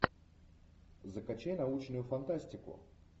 закачай научную фантастику